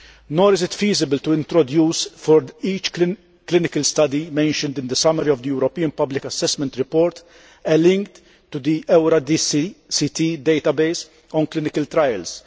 Nor is it feasible to introduce, for each clinical study mentioned in the summary of the European Public Assessment Report, a link to the Eurydice Database on clinical trials.